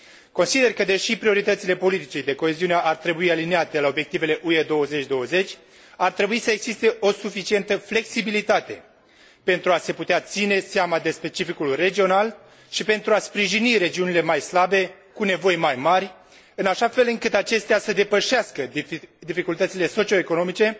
Consider că, deși prioritățile politicii de coeziune ar trebui aliniate la obiectivele UE 2020, ar trebui să existe o suficientă flexibilitate pentru a se putea ține seama de specificul regional și pentru a sprijini regiunile mai slabe, cu nevoi mai mari, în așa fel încât acestea să depășească dificultățile socio economice,